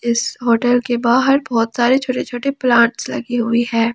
इस होटल के बाहर बहुत सारे छोटे छोटे प्लांट्स लगे हुए है।